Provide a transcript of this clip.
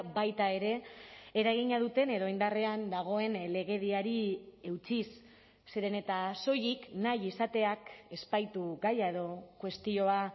baita ere eragina duten edo indarrean dagoen legediari eutsiz zeren eta soilik nahi izateak ez baitu gaia edo kuestioa